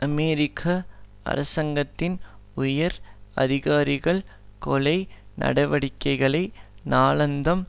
அமெரிக்க அரசாங்கத்தின் உயர் அதிகாரிகள் கொலை நடவடிக்கைகளை நாளாந்தம்